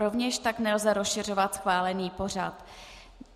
Rovněž tak nelze rozšiřovat schválený pořad.